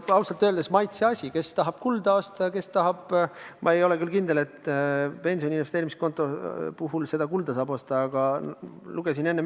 See on ausalt öeldes maitseasi: kes tahab kulda osta – ma ei ole küll kindel, et pensoni investeerimiskonto puhul kulda saab osta –, kes tahab võlakirju osta.